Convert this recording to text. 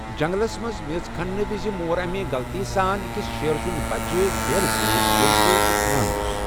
جنگلَس منٛز میژ کھننہٕ وَزِ مور أمۍ غلطی سان أکِس شیرٕ سُنٛد بچہٕ بیلہٕ سۭتۍ ییٚمہِ سۭتۍ یہِ کھنان اوس۔